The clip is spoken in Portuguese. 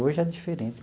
Hoje é diferente.